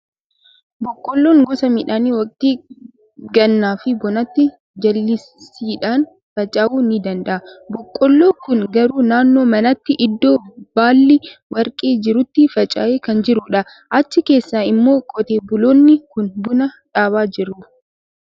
Boqqolloon gosa midhaanii waqtii gannaa fi bonaatti jallisiidhaan faca'uu ni danda'a. Boqolloo kun garuu naannoo manaatti, iddoo baalli warqee jirutti faca'ee kan jirudha. Achi keessa immoo qotee buloonni kun buna dhaabaa jiru.